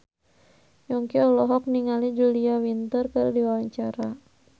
Yongki olohok ningali Julia Winter keur diwawancara